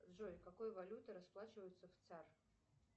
джой какой валютой расплачиваются в цар